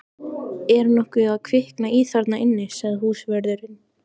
Er nokkuð að kvikna í þarna inni? sagði húsvörðurinn.